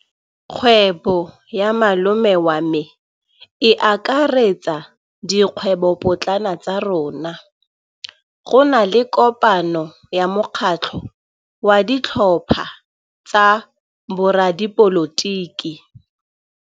Kgwêbô ya malome wa me e akaretsa dikgwêbôpotlana tsa rona. Go na le kopanô ya mokgatlhô wa ditlhopha tsa boradipolotiki.